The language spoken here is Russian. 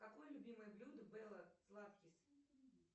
какое любимое блюдо белла златкис